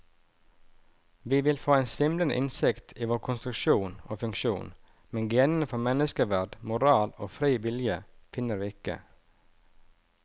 Vi vil få en svimlende innsikt i vår konstruksjon og funksjon, men genene for menneskeverd, moral og fri vilje finner vi ikke.